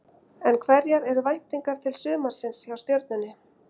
En hverjar eru væntingarnar til sumarsins hjá Stjörnunni?